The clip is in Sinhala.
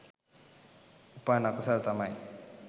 උපන් අකුසල් තමයි